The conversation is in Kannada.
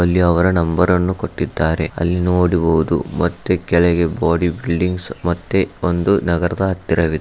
ಅಲ್ಲಿ ಅವರ ನಂಬರನ್ನು ಕೊಟ್ಟಿದ್ದಾರೆ ಅಲ್ಲಿ ನೋಡಬಹುದು ಮತ್ತೆ ಕೆಳಗೆ ಬಾಡಿ ಬಿಲ್ಡಿಂಗ್ಸ್ ಮತ್ತೆ ಒಂದು ನಗರದ ಹತ್ತಿರವಿದೆ.